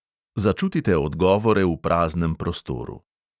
Začutite odgovore v praznem prostoru.